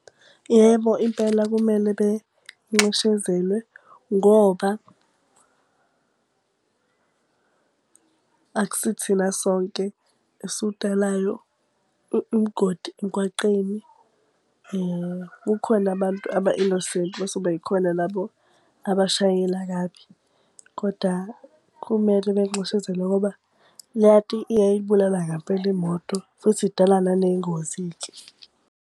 Yebo impela kumele benxeshezelwe ngoba akusithina sonke esudalayo umgodi emgwaqeni. Kukhona abantu aba-innocent bese kuba yikhona labo abashayela kabi. Kodwa kumele benxeshezelwe ngoba leya nto iyayibulala ngampela imoto futhi idala naney'ngozi-ke.